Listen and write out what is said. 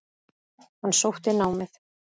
Hann sótti námið.